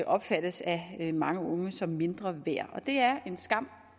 opfattes af mange unge som mindre værd og det er en skam